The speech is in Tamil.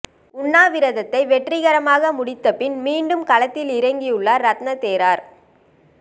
உண்ணாவிரதத்தை வெற்றிகரமாக முடித்த பின் மீண்டும் களத்தில் இறங்கியுள்ள ரத்ன தேரர்